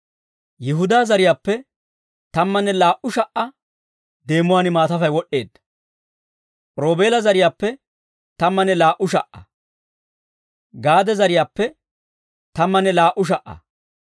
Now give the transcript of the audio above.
Yihudaa zariyaappe, tammanne laa"u sha"aa deemuwaan maatafay, wod'd'eedda. Roobeela zariyaappe, tammanne laa"u sha"aa. Gaade zariyaappe, tammanne laa"u sha"aa.